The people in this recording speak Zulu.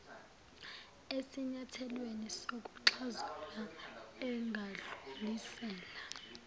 esinyathelweni sokuxazulula engadlulisela